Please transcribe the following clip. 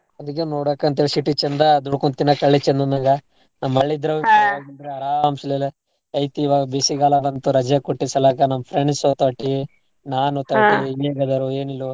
ಅದಿಕ್ಕೆ ನೋಡಾಕ್ ಅಂತ city ಚಂದ ದುಡ್ಕೊಂಡ್ ತಿನ್ನಾಕ ಹಳ್ಳಿ ಚಂದ್ ಅಂದಂಗ ನಮ್ ಹಳ್ಳಿ ಇದ್ರ ಆರಾಮ್ ಐತೀ ಇವಾಗ್ ಬೇಸಿಗ್ ಗಾಲ ಬಂತು ರಜೆ ಕೊಟ್ಟಿದ್ ಸಲಾಕ ನಮ್ friends ಜೊತಾಟಿ ನಾನ್ ನೀವೆಲ್ಲರೂ ಏನಿಲ್ವೋ.